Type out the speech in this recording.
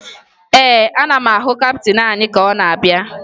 Ee, ana m ahụ kaptịn anyị ka ọ na-abịa